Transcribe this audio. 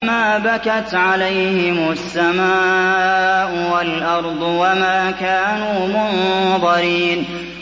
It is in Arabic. فَمَا بَكَتْ عَلَيْهِمُ السَّمَاءُ وَالْأَرْضُ وَمَا كَانُوا مُنظَرِينَ